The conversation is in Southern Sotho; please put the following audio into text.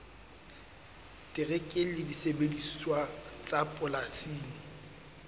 terekere le disebediswa tsa polasing